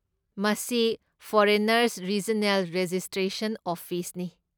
ꯃꯁꯤ foreigners regional registration ꯑꯣꯐꯤꯁꯅꯤ꯫